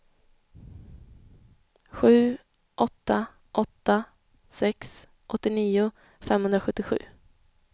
sju åtta åtta sex åttionio femhundrasjuttiosju